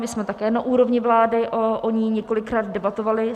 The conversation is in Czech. My jsme také na úrovni vlády o ní několikrát debatovali.